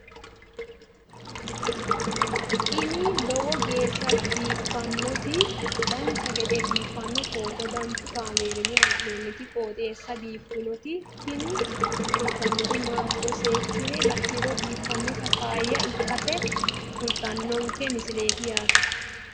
ini lowo geeshsha biiffannoti dancha gede biiffanno footo danchu kaameerinni haa'noonniti qooxeessa biiffannoti tini kultannori maatiro seekkine la'niro biiffannota faayya ikkase kultannoke misileeti yaate